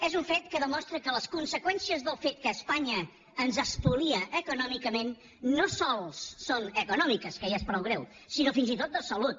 és un fet que demostra que les conseqüències del fet que espanya ens espolia econòmicament no sols són econòmiques que ja és prou greu sinó fins i tot de salut